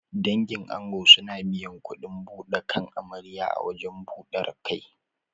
Dangin ango suna biyan kuɗin buɗe kan amarya a wajen ɓudar kai.